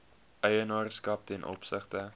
eienaarskap ten opsigte